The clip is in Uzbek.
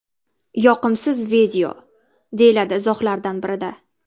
Yoqimsiz video”, deyiladi izohlardan birida.